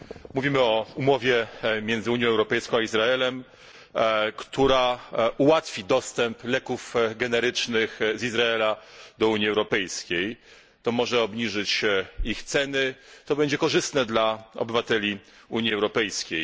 Mówimy o umowie między Unią Europejską a Izraelem, która ułatwi dostęp leków generycznych z Izraela do Unii Europejskiej. To może obniżyć ich ceny, to będzie korzystne dla obywateli Unii Europejskiej.